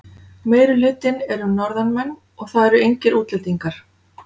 Meirihlutinn eru Norðanmenn og það eru engir útlendingar.